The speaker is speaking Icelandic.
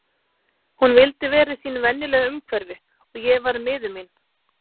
Hún vildi vera í sínu venjulega umhverfi og ég varð miður mín.